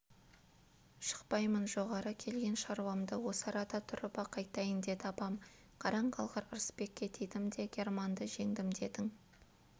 шықпаймын жоғары келген шаруамды осы арада тұрып-ақ айтайын деді апам қараң қалғыр ырысбекке тидім де германды жеңдім дедің